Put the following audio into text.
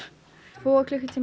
tvo klukkutíma